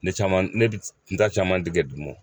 Ne caman ne bɛ nta caman tigɛ dugumwan.